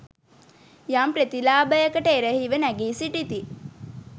යම් ප්‍රතිලාභයකට එරහිව නැගී සිටිති